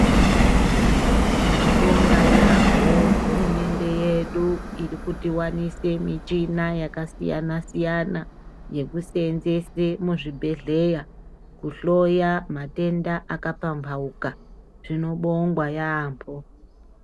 Tinobonga yambo hurumende yedu iri kutiwanisa michina yakasiyana siyana yekusenzesa muzvibhedhlera kuhloya matenda akapambauka zvinobongwa yambo.